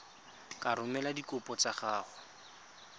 ka romela dikopo tsa gago